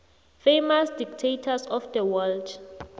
famous dictators of the world